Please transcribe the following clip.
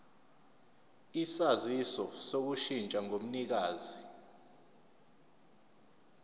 isaziso sokushintsha komnikazi